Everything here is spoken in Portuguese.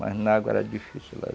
Mas na água era difícil la